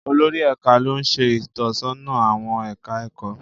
Olórí Ẹka lo n ṣe itọsọna awọn ẹka ẹkọ.